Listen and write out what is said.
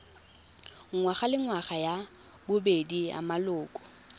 ngwagalengwaga ya bobedi ya maloko